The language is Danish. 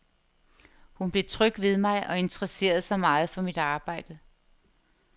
Hun blev tryg ved mig og interesserede sig meget for mit arbejde.